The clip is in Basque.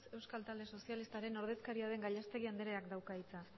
euskal talde sozialistaren ordezkaria den gallastegui andreak dauka hitza